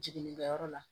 Jiginnikɛyɔrɔ la